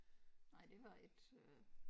Nej det var ikke øh